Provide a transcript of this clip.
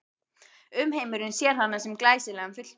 Umheimurinn sér hana sem glæsilegan fulltrúa